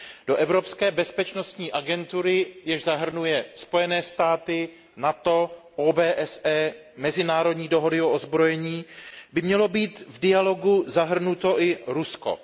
Do Evropské bezpečnostní agentury, jež zahrnuje Spojené státy, NATO, OBSE, mezinárodní dohody o odzbrojení, by mělo být v dialogu zahrnuto i Rusko.